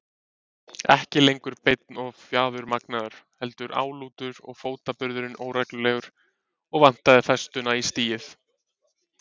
Ekki lengur beinn og fjaðurmagnaður, heldur álútur og fótaburðurinn óreglulegur og vantaði festuna í stigið.